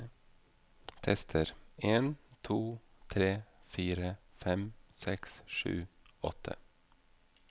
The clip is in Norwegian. Tester en to tre fire fem seks sju åtte